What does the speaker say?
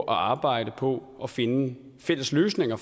arbejde på at finde fælles løsninger